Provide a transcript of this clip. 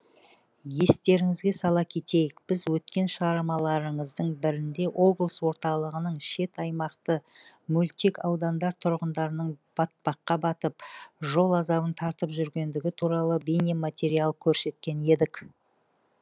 естеріңізге сала кетейік біз өткен шығармаларымыздың бірінде облыс орталығының шет аймақты мөлтек аудандар тұрғындарының батпаққа батып жол азабын тартып жүргендігі туралы бейнематериал көрсеткен едік